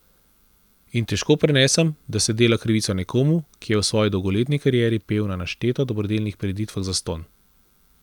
In težko prenesem, da se dela krivico nekomu, ki je v svoji dolgoletni karieri pel na nešteto dobrodelnih prireditvah zastonj.